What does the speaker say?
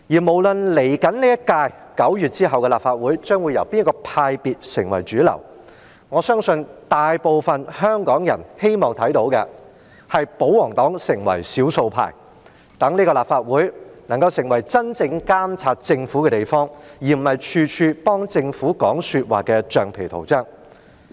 無論9月之後的下一屆立法會將會由哪個派別成為主流，我相信大部分香港人希望看到的，是保皇黨成為少數派，讓這個立法會能夠作真正監察政府的地方，而不是處處幫政府說話的橡皮圖章。